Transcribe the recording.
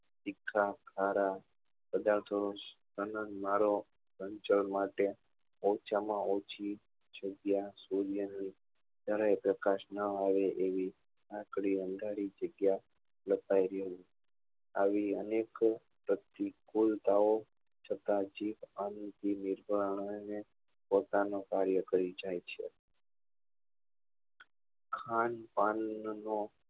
આવી અનેક પ્રતિકુળતા ઓ તથા જીભ આરોગ્ય પોતાનું કાર્ય કરી જાય છે ખાન પાન નો